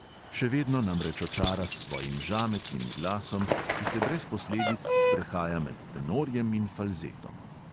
Še vedno namreč očara s svojim žametnim glasom, ki se brez posledic sprehaja med tenorjem in falzetom.